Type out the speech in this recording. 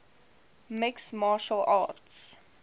mixed martial arts